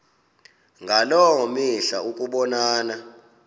ngaloo mihla ukubonana